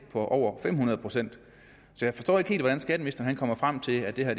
på over fem hundrede procent så jeg forstår ikke helt hvordan skatteministeren kommer frem til at det her